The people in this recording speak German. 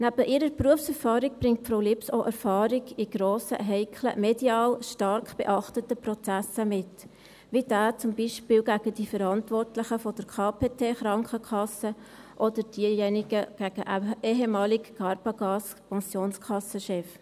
Neben ihrer Berufserfahrung bringt Frau Lips auch Erfahrungen in grossen, heiklen, medial stark beachteten Prozessen mit, wie zum Beispiel der gegen die Verantwortlichen der Krankenkasse KPT, oder der gegen den ehemaligen Carbagas-Pensionskassenchef.